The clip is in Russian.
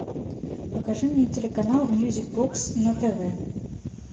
покажи мне телеканал мьюзик бокс на тв